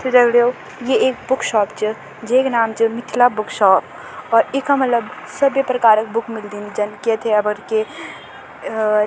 त दगड़ियों ये एक बुक शॉप च जेक नाम च मिथिला बुक शॉप और इख़म मतलब सभी प्रकार क बुक मिल्दीन जन की इथे अबर के अ --